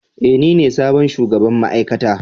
Ee, nine sabon shugaban ma'aikata.